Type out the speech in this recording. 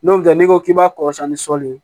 N'o tɛ n'i ko k'i b'a kɔrɔsiyɛn ni sɔli ye